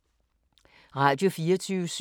Radio24syv